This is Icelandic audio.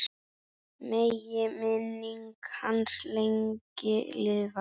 Megi minning hans lengi lifa.